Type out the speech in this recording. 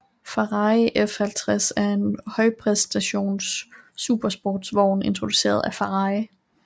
Ferrari F50 er en højpræstations supersportsvogn produceret af Ferrari